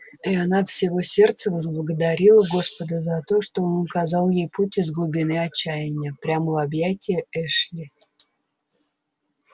и она от всего сердца возблагодарила господа за то что он указал ей путь из глубины отчаяния прямо в объятия эшли